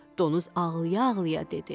Donuz ağlaya-ağlaya dedi: